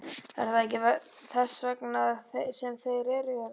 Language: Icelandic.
Er það ekki þess vegna sem þeir eru hérna?